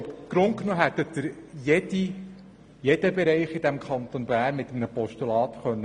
Im Grunde hätten Sie jeden Bereich im Kanton Bern auf den Tisch legen können.